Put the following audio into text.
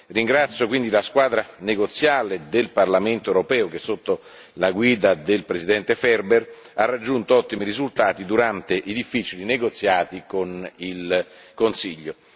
Ringrazio quindi la squadra negoziale del Parlamento europeo che, sotto la guida del presidente Ferber, ha raggiunto ottimi risultati durante i difficili negoziati con il Consiglio.